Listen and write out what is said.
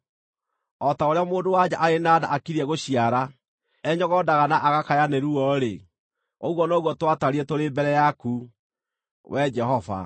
O ta ũrĩa mũndũ-wa-nja arĩ na nda akiriĩ gũciara enyogondaga na agakaya nĩ ruo-rĩ, ũguo noguo twatariĩ tũrĩ mbere yaku, Wee Jehova.